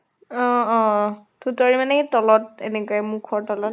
অহ অহ থুতৰী মানে মুখৰ তলত এনেকে মুখৰ তলত